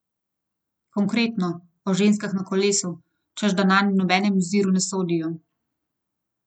Konkretno, o ženskah na kolesu, češ da nanj v nobenem oziru ne sodijo.